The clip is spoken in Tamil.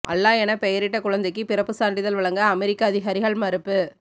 அல்லா என பெயரிட்ட குழந்தைக்கு பிறப்பு சான்றிதழ் வழங்க அமெரிக்க அதிகாரிகள் மறுப்பு